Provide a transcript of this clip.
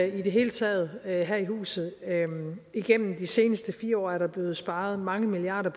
i det hele taget her i huset igennem de seneste fire år er der blevet sparet mange milliarder